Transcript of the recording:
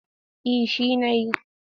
Eh shi na yi.